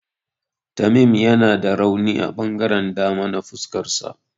Tamim yana da rauni a ɓangaren dama na fuskarsa.